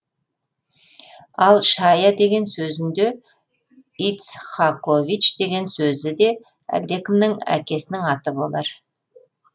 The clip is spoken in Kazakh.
ал шая деген сөзін де ицхакович деген сөзі де әлдекімнің әкесінің аты болар